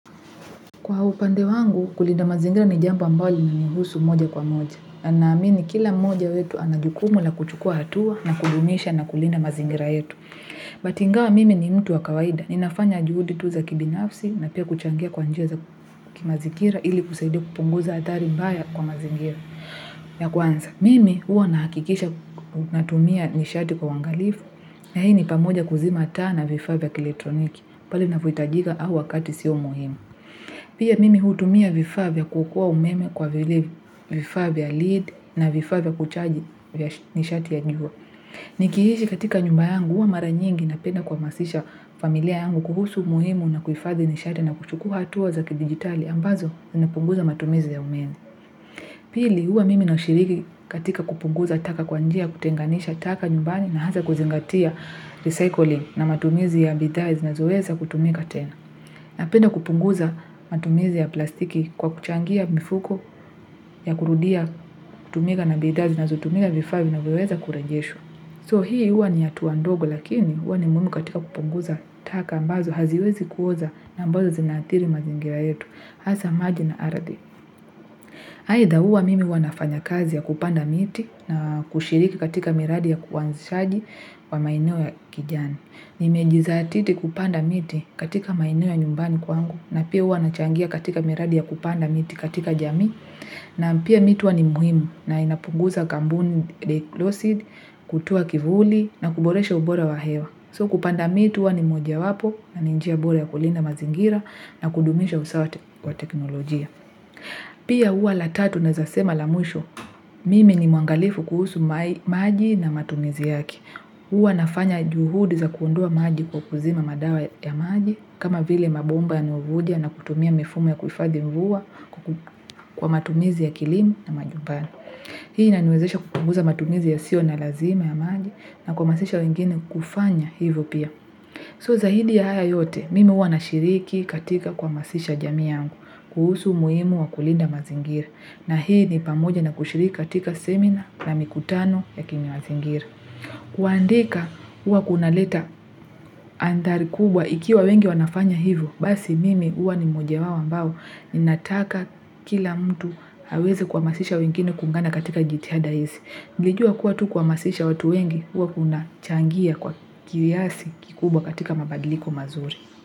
Kwa upande wangu, kulinda mazingira ni jambo ambalo inanihusu moja kwa moja. Anamini kila moja wetu anajukumu na kuchukua hatua na kujumisha na kulinda mazingira yetu. But ingawa mimi ni mtu wa kawaida. Ninafanya juhudi tuza kibinafsi na pia kuchangia kwa njia za kimazingira ili kusaidia kupunguza atari mbaya kwa mazingira. Ya kwanza, mimi huwa na hakikisha natumia nishati kwa wangalifu na hii ni pamoja kuzima taa na vifaa vya kilitroniki pali na vuitajiga au wakati sio muhimu. Pia mimi hutumia vifaa vya kuokoa umeme kwa vile vifavya lead na vifavya kuchaji nishati ya njua. Nikiishi katika nyumba yangu uwa mara nyingi na penda kuhamasisha familia yangu kuhusu muhimu na kufathi nishati na kuchukua atuwa zaki digitali ambazo zinapunguza matumizi ya umeni. Pili uwa mimi na ushiriki katika kupunguza taka kwanjia kutenganisha taka nyumbani na hasa kuzingatia recycling na matumizi ya bidha zonazoeza kutumika tena. Napenda kupunguza matumizi ya plastiki kwa kuchangia mifuko ya kurudia kutumika na bidha zinazotumika vifaa vi na vyeweza kura jesho. So hii hua ni atua ndogo lakini hua ni muhimu katika kupunguza taka mbazo haziwezi kuoza na mbazo zinathiri mazingira yetu. Hasa maji na aradi. Haida hua mimi huwa nafanya kazi ya kupanda miti na kushiriki katika miradi ya kuanzishaji wa maineo ya kijani. Nimejizatiti kupanda miti katika maineo ya nyumbani kwangu na pia hua nachangia katika miradi ya kupanda miti katika jami na pia mitu wa ni muhimu na inapunguza gambuni losid, kutua kivuli na kuboresha ubora wa hewa. So kupanda mitu wa ni moja wapo na ni njia ubora ya kulinda mazingira na kudumisha usawa wa teknolojia. Pia uwa latatu naezasema lamushu, mimi ni muangalifu kuhusu maji na matumizi yaki. Uwa nafanya juhudi za kuondua maji kwa kuzima madawa ya maji, kama vile mabomba yanayovuja na kutumia mefume ya kufadhimvuwa kwa matumizi ya kilimu na majubani. Hii inanwezesha kukunguza matumizi ya sio na lazima ya maji na kwa masisha wengine kufanya hivyo pia. So zaidi ya haya yote, mimi uwa nashiriki katika kuhamasisha jamii yangu, kuhusu muimu wa kulinda mazingiri. Na hii ni pamoja na kushiriki katika seminar na mikutano ya kimamazingiri. Kuandika, uwa kunaleta andari kubwa ikiwa wengi wanafanya hivyo. Basi mimi uwa ni moja wawa mbao, ninataka kila mtu haweze kwa masisha wengine kungana katika jithiada hizi. Nijua kuwa tu kwa masisha watu wengi, huwa kunachangia kwa kiasi kikubwa katika mabadiliko mazuri.